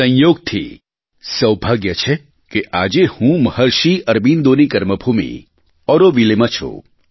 સંયોગથી સૌભાગ્ય છે કે આજે હું મહર્ષિ અરબિન્દોની કર્મભૂમિ ઑરોવિલે માં છું